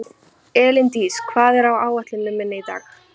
Elíndís, hvað er á áætluninni minni í dag?